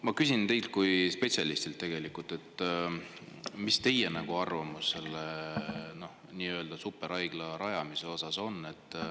Ma küsin teilt kui spetsialistilt, mis on teie arvamus selle nii-öelda superhaigla rajamise kohta.